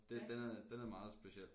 Det den er den er meget speciel